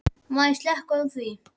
Má ég ekki slökkva á því?